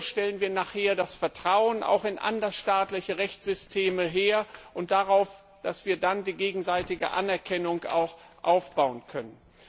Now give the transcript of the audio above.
Denn nur so stellen wir nachher das Vertrauen in andersstaatliche Rechtssysteme her und stellen sicher, dass wir dann auch die gegenseitige Anerkennung darauf aufbauen können.